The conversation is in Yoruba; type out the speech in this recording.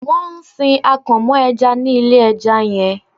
Wọn ń sin akàn mọ́ ẹja ní ilé ẹja yẹn.